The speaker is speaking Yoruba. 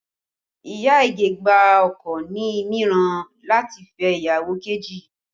Iya Ige gba ọkọ ní ìmọ̀ràn láti fẹ́ ìyàwó kejì